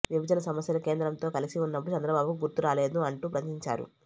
విభజన సమస్యలు కేంద్రంతో కలిసి ఉన్నప్పుడు చంద్రబాబుకు గుర్తు రాలేదా అంటూ ప్రశ్నించారు